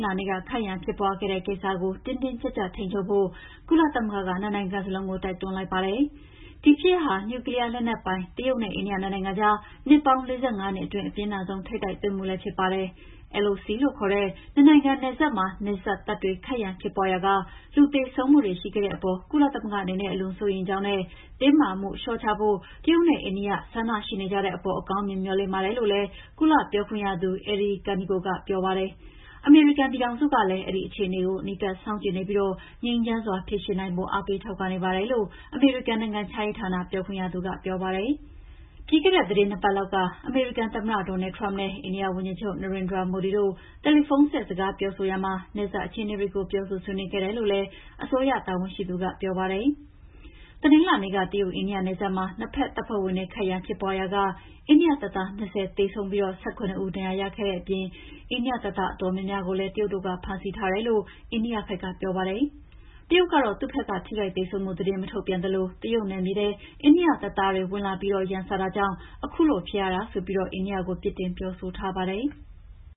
လာနေ့က ခိုက်ရန်ဖြစ်ပွါးခဲ့တဲ့ ကိစ္စကို တင်းတင်းကြပ်ကြပ်ထိန်းချုပ်ဖို့ ကုလသမဂ္ဂက နှစ်နိုင်ငံစလုံးကို တိုက်တွန်းလိုက်ပါတယ်။ ဒီဖြစ်ရပ်ဟာ နျူကလီးယားလက်နက်ပိုင် တရုတ်နဲ့ အိန္ဒိယ နှစ်နိုင်ငံကြား နှစ်ပေါင်း ၄၅ နှစ်အတွင်း အပြင်းထန်ဆုံး ထိပ်တိုက်တွေ့မှုလည်း ဖြစ်ပါတယ်။ LOC လို့ခေါ်တဲ့ နှစ်နိုင်ငံနယ်စပ်မှာ နှစ်ဘက်တပ်တွေ ခိုက်ရန်ဖြစ်ပွါးရာက လူသေဆုံးမှုတွေ ရှိခဲ့တဲ့အပေါ် ကုလသမဂ္ဂအနေနဲ့ အလွန်စိုးရိမ်ကြောင်းနဲ့ တင်းမာမှုလေ ျှာ့ချဖို့ တရုတ်နဲ့ အိန္ဒိယ ဆန္ဒရှိနေကြတဲ့အပေါ် အကောင်းမြင်မေ ျှာ်လင့်နေပါတယ်လို့ ကုလ ပြောခွင့်ရသူ Eri Kaneko ကပြောပါတယ်။ အမေရိကန်ပြည်ထောင်စုကလည်း အဲဒီ အခြေအနေတွေကို အနီးကပ်စောင့်ကြည့်နေပြီး ငြိမ်းချမ်းစွာဖြေရှင်းနိုင်ဖို့ အာေးပးထောက်ခံနေပါတယ်လို့ အမေရိကန်နိုင်ငံခြားရေးဌာနပြောခွင့်ရသူ ဆိုပါတယ်။ ပြီးခဲ့တဲ့ သီတင်း ၂ ပတ်လောက်က အမေရိကန်သမ္မတ Donald Trump နဲ့ အိန္ဒိယဝန်ကြီးချုပ် နရင်ဒရာမိုဒီတို့ တယ်လီဖုန်းဆက် စကားပြောဆိုရာမှာ နယ်စပ်အခြေအနေတွေကို ပြောဆိုဆွေးနွေးခဲ့တယ်လို့ အစိုးရတာဝန်ရှိသူက ပြောပါတယ်။ တနင်္လာနေ့က တရုတ် - အိန္ဒိယနယ်စပ်မှာ နှစ်ဘက်တပ်ဖွဲ့ဝင်တွေ ခိုက်ရန်ဖြစ်ပွါးရာက အိန္ဒိယတပ်သား ၂၀ သေဆုံးပြီး ၁၇ ဦးဒဏ်ရာရခဲ့တဲ့အပြင် အိန္ဒိယတပ်သားအတော်များများကိုလည်း တရုတ်တို့က ဖမ်းဆီးထားတယ်လို့ အိန္ဒိယဘက်က ပြောပါတယ်။ တရုတ်ကတော့ သူ့ဘက်က ထိခိုက်သေဆုံးမှု သတင်းမထုတ်ပြန်သလို တရုတ်နယ်မြေထဲ အိန္ဒိယတပ်သားတွေ ဝင်လာပြီး ရန်စတာကြောင့် ခုလိုဖြစ်ရတာဆိုပြီး အိန္ဒိယကို ပြစ်တင်ပြောဆိုထားပါတယ်။